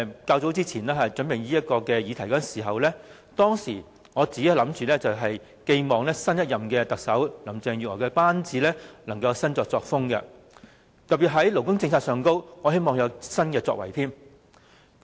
早前，當我為這項議題作準備時，我寄望新一任特首林鄭月娥的班子會有新作風，特別希望他們在勞工政策上會有新作為。